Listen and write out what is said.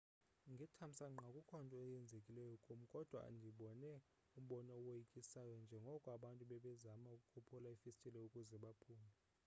ngethamsanqa akukho nto yenzekileyo kum kodwa ndibone umbono owoyikisayo njengoko abantu bebezama ukophula iifestile ukuze baphume